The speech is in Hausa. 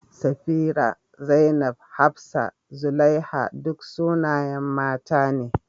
Safirah, Zainab, Hafsah, Zulaiha, duk sunayen mata ne.